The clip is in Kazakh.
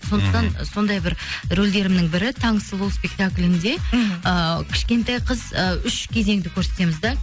сондықтан сондай бір рольдерімнің бірі таң сұлу спектакілінде мхм ы кішкентай қыз ы үш кезеңді көрсетеміз да